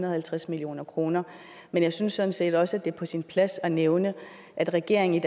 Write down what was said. og halvtreds million kroner men jeg synes sådan set også at det er på sin plads at nævne at regeringen i